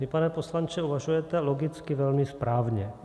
Vy, pane poslanče, uvažujete logicky velmi správně.